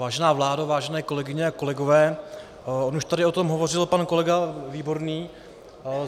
Vážená vládo, vážené kolegyně a kolegové, on už tady o tom hovořil pan kolega Výborný.